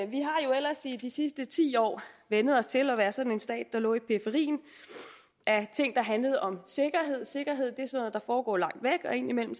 vi har jo ellers i de sidste ti år vænnet os til at være sådan en stat der lå i periferien af ting der handlede om sikkerhed sikkerhed er noget der foregår langt væk indimellem